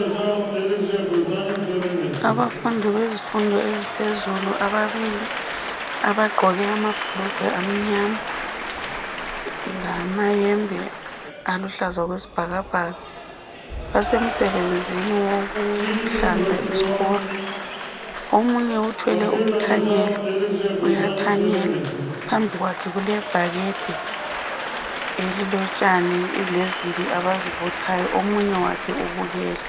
Abafundi bezifundo eziphezulu ababili abagqoke amabhulugwe amnyama lamayembe aluhlaza okwesibhakabhaka basemsebenzi wokuhlanza isikolo, omunye uthwele umthanyelo uyathanyela phambi kwakhe kulebhakede elilotshani lezibi abazibuthayo, omunye wakhe ubukele.